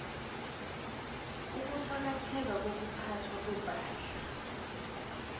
ukuqakatheka kokuphathwa kwepahla